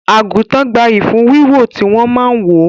Àgùntàn gbayyi fún Wíwò tí wọn máa ń wò